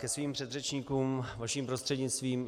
Ke svým předřečníkům vaším prostřednictvím.